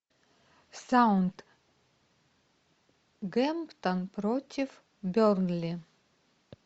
саутгемптон против бернли